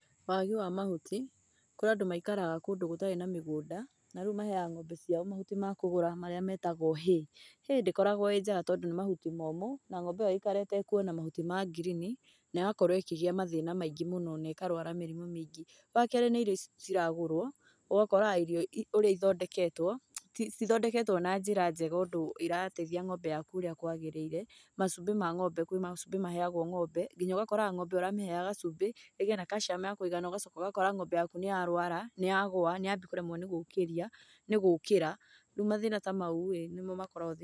Wagi wa mahuti, kũrĩ andũ maikaraga kũndũ gũtarĩ na mĩgũnda, na rĩu maheaga ng'ombe ciao mahuti makũgũra marĩa metagũo hay. Hay ndĩkoragũo ĩ njega tondũ nĩ mahuti momũ, na ng'ombe ĩyo yaikara ĩtekuona mahuti ma ngirini, naĩgakorũo ĩkĩgĩa mathĩna maingĩ mũno na ĩkarũara mĩrimũ mĩingĩ. Wakerĩ nĩ irio ici ciragũrũo, ũgakoraga irio ũrĩa ithondeketũo, citithondeketũo na njĩra njega ũndũ irateithia ng'ombe yaku ũrĩa kũagĩrĩrire, macumbi ma ng'ombe, kwĩ macumbĩ maheagũo ng'ombe nginya ũgakoraga ng'ombe ũramĩheaga cumbĩ, ĩgĩe na calcium ya kũigana, ũgacoka ũgakora ng'ombe yaku nĩyarũara, nĩyagũa, nĩyambia kũremwo nĩ gũkĩria nĩ gũkĩra, rĩu mathĩna ta mau-ĩ nĩmo makoragũo